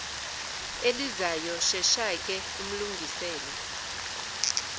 elizayo sheshake umlungisele